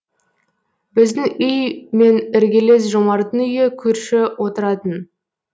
біздің үй мен іргелес жомарттың үйі көрші отыратын